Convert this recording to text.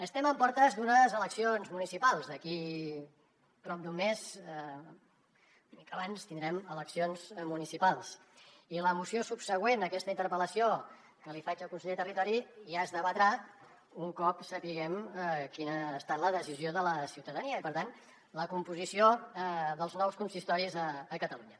estem en portes d’unes eleccions municipals d’aquí prop d’un mes una mica abans tindrem eleccions municipals i la moció subsegüent a aquesta interpel·lació que li faig al conseller de territori ja es debatrà un cop sapiguem quina ha estat la decisió de la ciutadania i per tant la composició dels nous consistoris a catalunya